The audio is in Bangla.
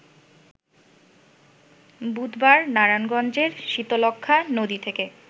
বুধবার নারায়ণগঞ্জের শীতলক্ষ্যা নদী থেকে